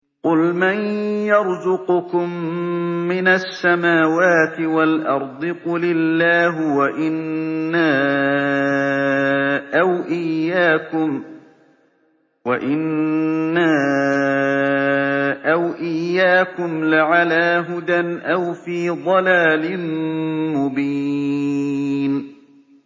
۞ قُلْ مَن يَرْزُقُكُم مِّنَ السَّمَاوَاتِ وَالْأَرْضِ ۖ قُلِ اللَّهُ ۖ وَإِنَّا أَوْ إِيَّاكُمْ لَعَلَىٰ هُدًى أَوْ فِي ضَلَالٍ مُّبِينٍ